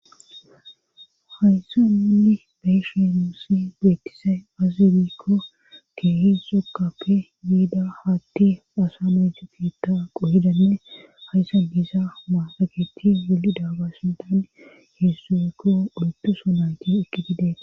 Hayssa minni beyisheemusi beetisay azibikko keehi xokkappe yiida haatti asa mayte fiitta qohidanne hayssa diisa maatagetti wuli daaga sintan heessuekko oltuso nayti ekki didee